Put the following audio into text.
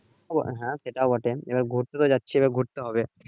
হ্যাঁ সেটাও বটে এবার ঘুরতে যাচ্ছি এবার ঘুরতে হবে।